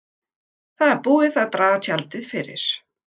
Það er búið að draga tjaldið fyrir.